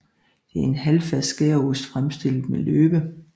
Det er en halvfast skæreost fremstillet med løbe